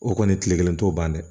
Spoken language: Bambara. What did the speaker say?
O kɔni kile kelen t'o ban dɛ